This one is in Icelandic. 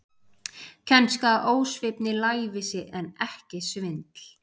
Kænska, ósvífni, lævísi, en ekki svindl.